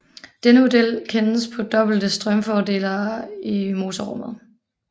Denne model kan kendes på dobbelte strømfordelere i motorrummet